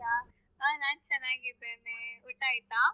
ಆ ನಾನ್ ಚೆನ್ನಾಗಿದ್ದೇನೆ, ಊಟ ಆಯ್ತಾ?